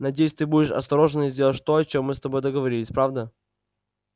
надеюсь ты будешь осторожен и сделаешь то о чем мы с тобой договорились правда